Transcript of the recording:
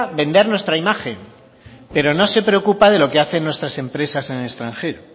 vender nuestra imagen pero no se preocupa de lo que hacen nuestras empresas en el extranjero